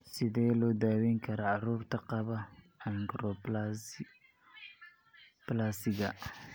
Sidee loo daweyn karaa carruurta qaba achondroplasiga?